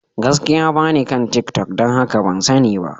Gaskiya, ba ni kan tiktok, don haka ban sani ba.